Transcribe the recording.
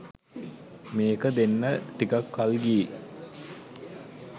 මේක දෙන්න ටිකක් කල් ගියෙ